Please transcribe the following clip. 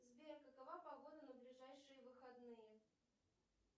сбер какова погода на ближайшие выходные